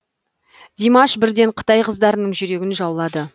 димаш бірден қытай қыздарының жүрегін жаулады